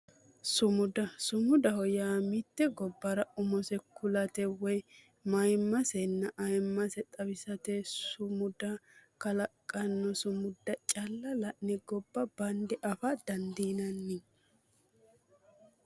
Sumuda sumudaho yaa mitte gobbara umose kulate woyi mayimmasenna ayemmase xawisate sumuda kalaqidhanno sumuda calla la'ne gobba bande afa dandiinanni